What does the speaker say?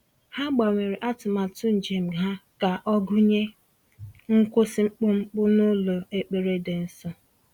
Ha gbanwere atụmatụ njem ha ka ọ gụnye nkwụsị mkpụmkpụ n'ụlọ ekpere dị nsọ.